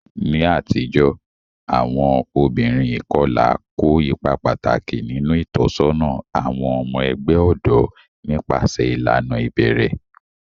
Ní àtijọ́, àwọn obìnrin ìkọlà kó ipa pàtàkì nínú ìtọ́sọ́nà àwọn ọmọ ẹgbẹ́ ọ̀dọ́ nípasẹ̀ ìlànà ìbẹ̀rẹ̀.